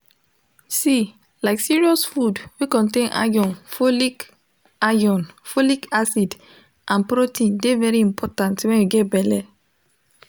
see like serious food wey contain iron folic iron folic acid and protein de very important when you get belle